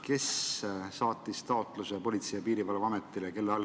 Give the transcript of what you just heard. Kes saatis taotluse Politsei- ja Piirivalveametile?